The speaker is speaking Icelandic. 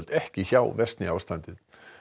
ekki hjá versni ástandið